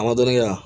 A ma dɔɔnin kɛ yan